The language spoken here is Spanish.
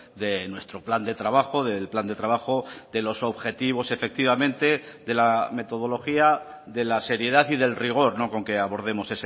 de nuestro plan de trabajo del plan de trabajo de los objetivos efectivamente de la metodología de la seriedad y del rigor con que abordemos